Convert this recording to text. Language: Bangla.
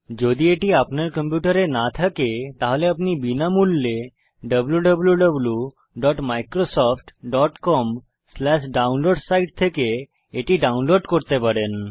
যদি এটি আপনার কম্পিউটারে না থাকে তাহলে আপনি এটি বিনামূল্যে wwwmicrosoftcomdownloads সাইট থেকে ডাউনলোড করতে পারেন